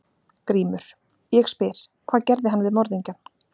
GRÍMUR: Ég spyr: Hvað gerði hann við morðingjann?